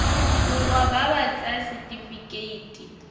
borwa ba ba ts setifikeite